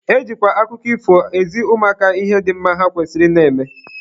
E jikwa akụkọ ifo ezi ụmụaka ihe dị mma ha kwesịrị ị na-eme.